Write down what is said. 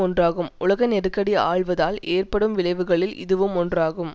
ஒன்றாகும் உலக நெருக்கடி ஆழ்வதால் ஏற்படும் விளைவுகளில் இதுவும் ஒன்றாகும்